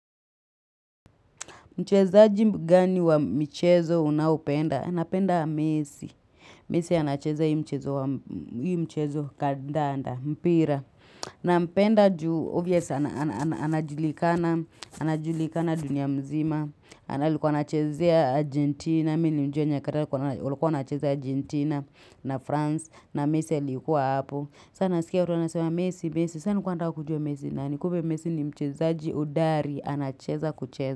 Mchezaji gani wa michezo unapenda? Anapenda Mesi. Mesi anacheza hii mchezo wa hii mchezo kandanda, mpira. Na mpenda juu obvious anajulikana anajulikana dunia mzima. Na alikuwa anachezea Argentina. Mimi nilimjua nyakati walikuwa anacheza Argentina na France. Na Mesi alikuwa hapo. Sasa nasikia watu anasema Mesi, Mesi. Sasa nilikuwa nataka kujua Mesi ni nani kumbe Mesi ni mchezaji hodari anacheza kucheza.